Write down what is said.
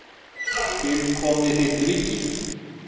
Til komi ríki þitt.